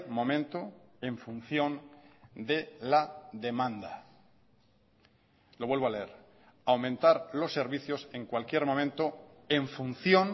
momento en función de la demanda lo vuelvo a leer aumentar los servicios en cualquier momento en función